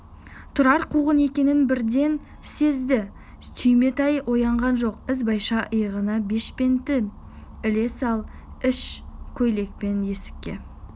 тұрар қуғын екенін бірден сезді түйметай оянған жоқ ізбайша иығына бешпентін іле сала іш көйлекпен есікке